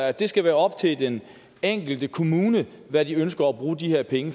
at det skal være op til den enkelte kommune hvad de ønsker at bruge de her penge